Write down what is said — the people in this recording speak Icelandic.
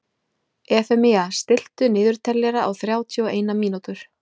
Efemía, stilltu niðurteljara á þrjátíu og eina mínútur.